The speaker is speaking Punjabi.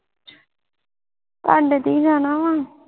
ਤੁਹਾਡੇ ਤੇ ਹੀ ਜਾਣਾ ਵਾ